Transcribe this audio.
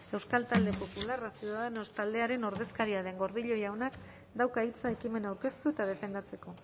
euskal talde popularra ciudadanos taldearen ordezkaria den gordillo jaunak dauka hitza ekimena aurkeztu eta defendatzeko